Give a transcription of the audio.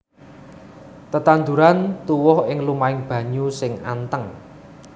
Tetanduran tuwuh ing lumahing banyu sing anteng